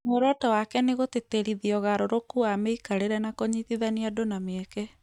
Muoroto wake ni gũtĩtĩrithia ũgarũrũku wa mĩikarĩre na kũnyitithania andũ na mĩeke